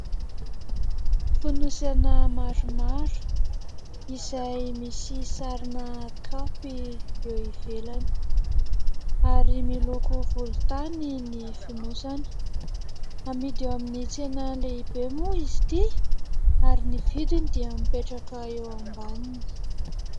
Fonosana maromaro izay misy sarina kaopy eo ivelany ary miloko volontany ny fonosana. Amidy eo amin'ny tsena lehibe moa izy ity ary ny vidiny dia mipetraka eo ambaniny.